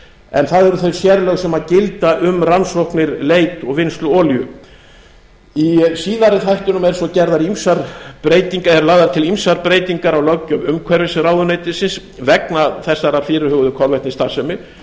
en það eru þau sérlög sem gilda um rannsóknir leit og vinnslu olíu í síðari þættinum eru svo lagðar til ýmsar breytingar á löggjöf umhverfisráðuneytisins vegna þessara fyrirhuguðu kolvetnisstarfsemi þar er